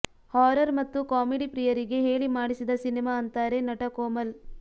horror ಮತ್ತು comedy ಪ್ರಿಯರಿಗೆ ಹೇಳಿ ಮಾಡಿಸಿದ ಸಿನಿಮಾ ಅಂತಾರೆ ನಟ ಕೋಮಲ್